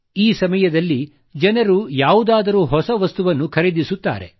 ಈ ಸಮಯದಲ್ಲಿ ಜನರು ಏನನ್ನಾದರೂ ಹೊಸ ವಸ್ತುವನ್ನು ಖರೀದಿಸುತ್ತಾರೆ